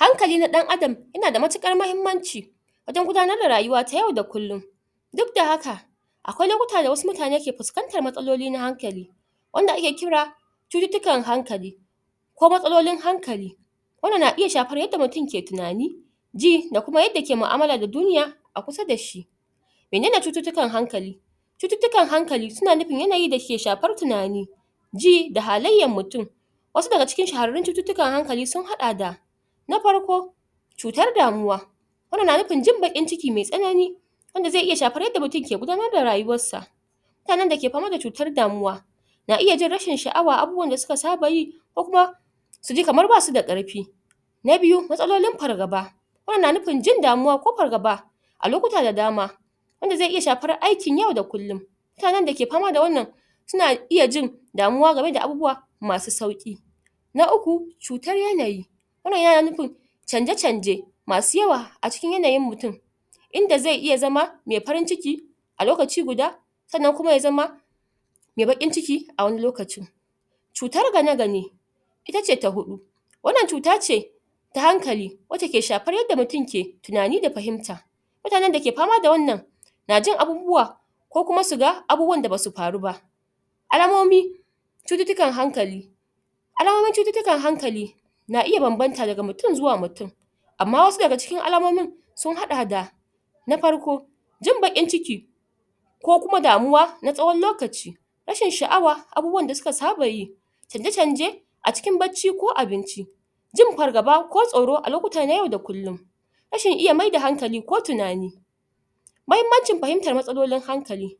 Hankali na dan adam ya na da matukar mahimanci wajen gudanar da rayuwa ta yau da kullum duk da haka akwai lokuta da wasu mutane ke fuskantar matsaloli na hankali wanda ake kira cututukan hankali ko matsalolin hankali wannan na iya shafar yadda mutum ke tunani ji da kuma yadda ke ma'amala da duniya a kusa da shi menene cututukan hankali cututukan hankali su na nufin yanayi da ke shafar tunani ji da halayan mutum wasu da ga cikin shaharin cututukan hankali su hada da na farko cutar damuwa wannan na nufin jin bakin ciki mai tsanani wanda zai iya shafar yadda mutum ke gudanar da rayuwar sa mutanen da ke fama da cutar damuwa na iya jin rashin sha'awa a abubuwan da su ka saba yi ko kuma su ji kamar ba su da karfi na biyu, matsalolin fargaba wannan na nufin jin damuwa ko fargaba a lokuta da dama wanda zai iya shafar aikin yau da kullum mutanen da ke fama da wannan su na iya jin damuwa game da abubuwa masu sauki na uku cutar yanayi wannan ya na nufin chanje chanje masu yawa a cikin yanayin mutum inda zai iya zama yayi farin ciki a lokaci guda sannan kuma ya zama mai bakin ciki a wani lokacin cutar gane gane ita ce ta hudu wannan cuta ce ta hankali wace ke shafar yadda mutum ke tunani da fahimta mutanen da ke fama da wannan na jin abubuwa ko kuma su gan abubuwa da ba su faru ba alamomi cututukan hankali alamomin cututukan hankali na iya bambanta daga mutum zuwa mutum ama wasu da ga cikin alamomin sun hada da na farko jin bakin ciki ko kuma damuwa na tsawon lokaci rashin sha'awa abubuwan da su ka saba yi chanje chanje a cikin baci ko abinci jin fargaba ko tsoro a lokuta na yau da kullum rashin iya maida hankali ko tunani mahimancin fahimtar matsalolin hankali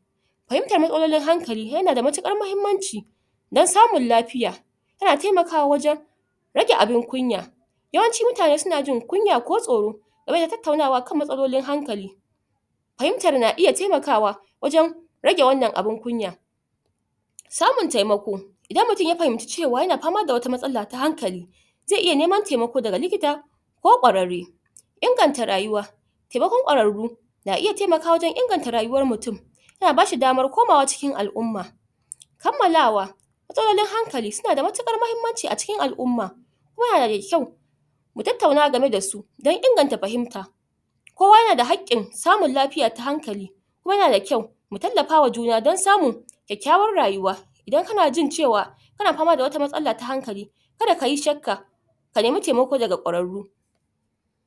fahimtar matsalolin hankali ya na da matukar mahimanci dan samun lafiya ya na taimakawa wajen rage abun kunya yawanci mutane su na jin kunya ko tsoro game da tattaunawa kan matsalolin hankali fahimtar na iya taimakawa wajen rage wannan abun kunya samun taimako idan mutum ya fahimci cewa ya na fama da wata matsala ta hankali zai iya neman taimako da galikita ko kwararre inganta rayuwa taimakon kwararru na iya taimakawa wajen inganta rayuwar mutum ya na bashi damar komawa cikin al'uma kammalawa matsalolin hankali su na da matukar mahimanci a cikin al'uma ya na da kyau mu tattauna game da su dan inganta fahimta kowa ya na da hakin samun lafiya ta hankali kuma ya na da kyau mu talafa wa juna dan samun kyakyawan rayuwa idan ka na ji cewa ka na fama da wata matsala na hankali kada ka yi shakka ka nima taimako da ga kwararru